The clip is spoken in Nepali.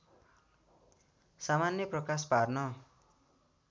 सामान्य प्रकाश पार्न